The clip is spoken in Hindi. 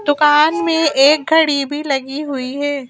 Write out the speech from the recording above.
दुकान में एक घड़ी भी लगी हुई है।